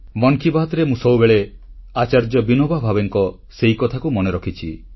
ମନ୍ କି ବାତ୍ରେ ମୁଁ ସବୁବେଳେ ଆଚାର୍ଯ୍ୟ ବିନୋବା ଭାବେଙ୍କ ସେହି କଥାକୁ ମନେ ରଖିଛି